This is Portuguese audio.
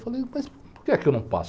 Falei, mas por que é que eu não passo?